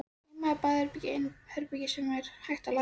Heima var baðherbergið eina herbergið sem hægt var að læsa.